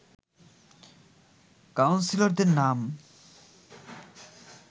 কাউন্সিলরদের নাম